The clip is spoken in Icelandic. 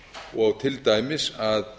og til dæmis að